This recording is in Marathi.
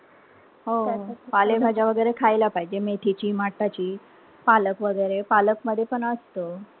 पालेभाज्या वगैरे खायला पाहिजे. मेथीची, मठाची, पालक वगैरे. पालक मध्ये पण असत.